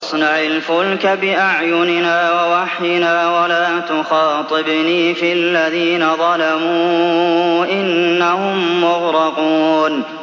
وَاصْنَعِ الْفُلْكَ بِأَعْيُنِنَا وَوَحْيِنَا وَلَا تُخَاطِبْنِي فِي الَّذِينَ ظَلَمُوا ۚ إِنَّهُم مُّغْرَقُونَ